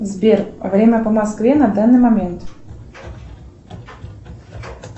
сбер время по москве на данный момент